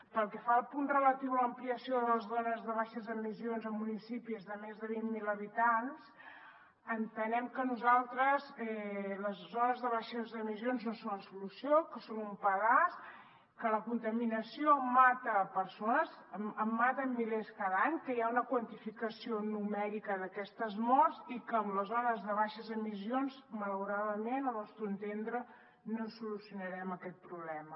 pel que fa al punt relatiu a l’ampliació de les zones de baixes emissions a municipis de més de vint mil habitants entenem nosaltres que les zones de baixes emissions no són la solució que són un pedaç que la contaminació mata persones en mata milers cada any que hi ha una quantificació numèrica d’aquestes morts i que amb les zones de baixes emissions malauradament al nostre entendre no solucionarem aquest problema